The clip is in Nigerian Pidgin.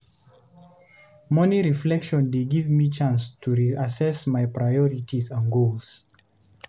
Morning reflection dey give me chance to reassess my priorities and goals.